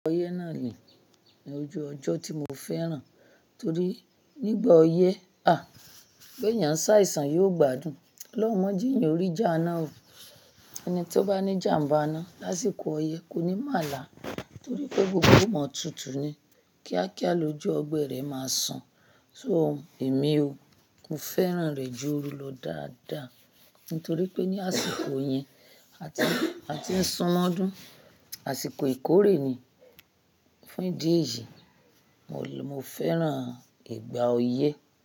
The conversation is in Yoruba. Ọyẹ́ náà nì, ní ojú ọjọ́ tí mo fẹ́ràn torí nígbà ọyẹ́, à, pé èèyàn ṣàìsàn yóò gbádùn. Ọ'lọun mọ jí eeyan ò rí ìjà àná o. Ẹni tí ó bá ní jàmbá iná lásìkò ọyẹ́ kò ní màlá torí pé gbogbo e o mọ̀ tútù ni. Kíákíá lójú ọgbẹ̀ rẹ̀ máa san. So èmi o, mo fẹ́ràn rẹ̀ jù oru lọ dáadáa nítorí pé ní àsìkò yẹn, a ti, a ti ń sun mọ́dún, àsìkò ìkórè ni fún ìdí èyí, mo, mo fẹ́ràn ìgbà ọyẹ́